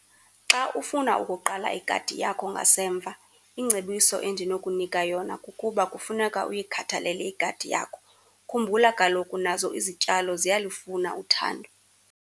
Xa ufuna ukuqala igadi yakho ngasemva ingcebiso endinokunika yona kukuba kufuneka uyikhathalele igadi yakho. Khumbula kaloku nazo izityalo ziyalufuna uthando.